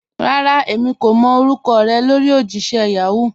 Rárá, èmi kò mọ́ orúkọ̀ rẹ lórí ojìṣẹ̀ Yahoo.